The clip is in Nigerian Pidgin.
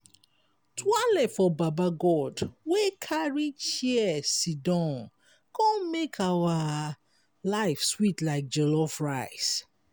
twaale for baba god wey carry chair sidon con make our life sweet like jollof rice!